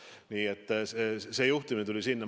Nii et see juhtimine tuli sinna.